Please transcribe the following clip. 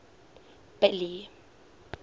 billy